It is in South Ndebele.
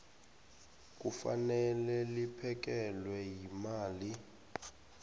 kufanele liphekelelwe yimali